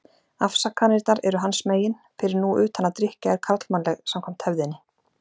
Afsakanirnar eru hans megin, fyrir nú utan að drykkja er karlmannleg, samkvæmt hefðinni.